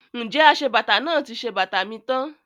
Ǹjẹ́ aṣebàtà náà ti ṣe bàtà mi tán?